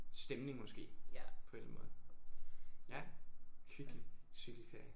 Stemning måske på en eller anden måde. Ja hyggelig. Cykelferie